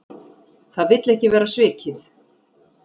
Það vill ekki vera svikið.